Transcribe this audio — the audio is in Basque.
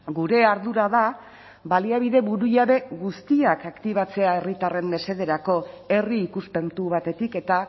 gure ardura da baliabide burujabe guztiak aktibatzea herritarren mesederako herri ikuspuntu batetik eta